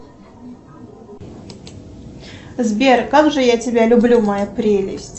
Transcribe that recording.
сбер как же я тебя люблю моя прелесть